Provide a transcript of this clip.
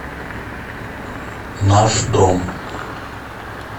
наш дом